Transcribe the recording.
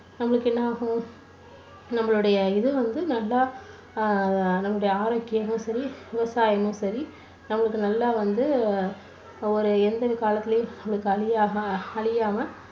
நம்மளுக்கு என்ன ஆகும்? நம்பளுடைய இது வந்து நல்லா ஆஹ் நம்முடைய ஆரோக்கியமும் சரி, விவசாயமும் சரி நம்மளுக்கு நல்லா வந்து ஒரு எந்த ஒரு எதிர்காலத்துலேயும் நம்மளுக்கு அழியாக~அழியாம